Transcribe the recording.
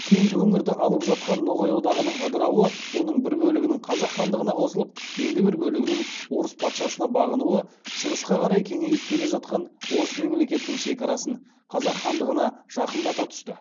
кең өңірді алып жатқан ноғай одағының ыдырауы оның бір бөлігінің қазақ хандығына қосылып енді бір бөлігінің орыс патшасына бағынуы шығысқа қарай кеңейіп келе жатқан орыс мемлекетінің шекарасын қазақ хандығына жақындата түсті